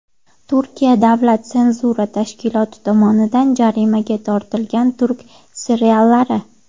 Turkiya davlat senzura tashkiloti tomonidan jarimaga tortilgan turk seriallari.